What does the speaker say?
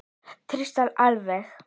Tvisvar alveg.